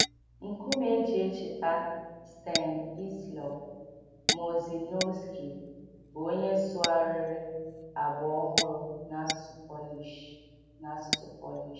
Nkume eji echeta Stanisław Murzynowski, bụ́ onye sụgharịrị “Agba Ọhụrụ” n’asụsụ Polish. n’asụsụ Polish.